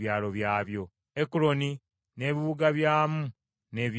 Ekuloni n’ebibuga byamu n’ebyalo byakyo,